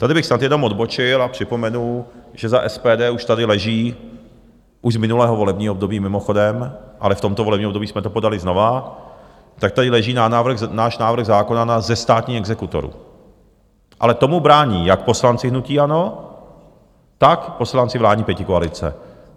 Tady bych snad jenom odbočil a připomenu, že za SPD už tady leží, už z minulého volební období mimochodem, ale v tomto volebním období jsme to podali znovu, tak tady leží náš návrh zákona na zestátnění exekutorů, ale tomu brání jak poslanci hnutí ANO, tak poslanci vládní pětikoalice.